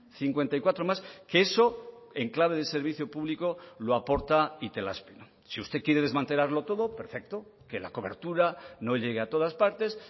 cincuenta y cuatro más que eso en clave de servicio público lo aporta itelazpi si usted quiere desmantelarlo todo perfecto que la cobertura no llegue a todas partes